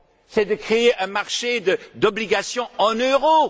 c'est de créer un marché d'obligations en euros.